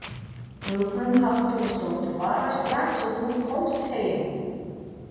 Hugrún Halldórsdóttir: Bara strax og þú komst heim?